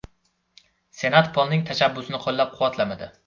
Senat Polning tashabbusini qo‘llab-quvvatlamadi.